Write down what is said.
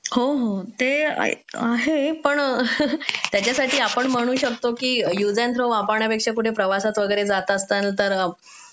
होते आहे पण त्याच्यासाठी आपण म्हणू शकतो वापरण्यापेक्षा पुढे प्रवासात वगैरे जात असतात तर